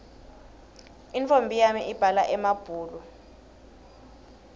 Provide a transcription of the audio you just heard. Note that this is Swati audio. intfombi yami ibhala emabhulu